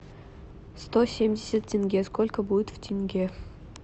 сто семьдесят тенге сколько будет в тенге